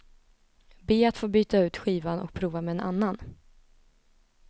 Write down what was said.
Be att få byta ut skivan och prova med en annan.